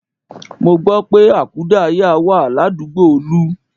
Mo gbọ́ pé àkúdáàyá wà ládùúgbò Olú